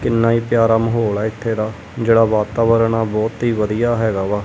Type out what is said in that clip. ਕਿੰਨਾ ਹੀ ਪਿਆਰਾ ਮਾਹੌਲ ਆ ਇਥੇ ਦਾ ਜਿਹੜਾ ਵਾਤਾਵਰਨ ਆ ਬਹੁਤ ਹੀ ਵਧੀਆ ਹੈਗਾ ਵਾ।